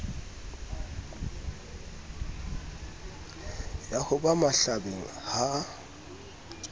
ya ho ba mahlabeng ha